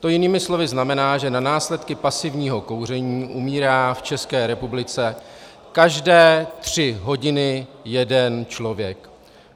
To jinými slovy znamená, že na následky pasivního kouření umírá v České republice každé tři hodiny jeden člověk.